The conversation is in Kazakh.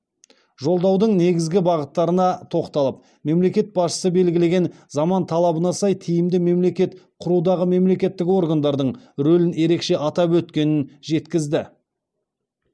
жолдаудың негізгі бағыттарына тоқталып мемлекет басшысы белгілеген заман талабына сай тиімді мемлекет құрудағы мемлекеттік органдардың рөлін ерекше атап өткенін жеткізді